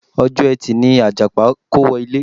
Ọjọ́ ẹtì ni Àjàpá kówọ ilé.